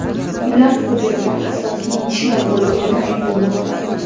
Ular hujumda asosiy nishon bo‘lmagani aytilmoqda.